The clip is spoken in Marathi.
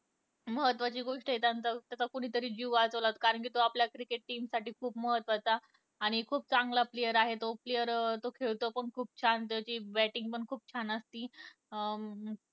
महत्वाची गोष्ट ये त्याचा कोणीतरी जीव वाचवला कारण तो आपल्या cricket team साठी खुप महत्वाचा आणि खूप चांगला player आहे तो player खेळतो पण खूप शांततेत त्याची bating पण खूप छान असते